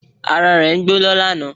Ara rẹ̀ gbóná lánàá